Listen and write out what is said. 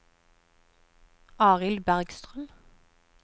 Arild Bergstrøm